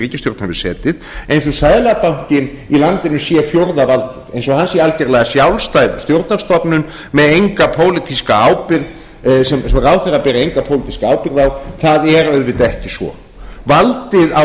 hefur setið eins og seðlabankinn í valdinu sé fjórða valdið eins og hann sé algjörlega sjálfstæð stjórnarstofnun með enga pólitíska ábyrgð sem ráðherrar beri enga pólitíska ábyrgð á það er auðvitað ekki svo valdið á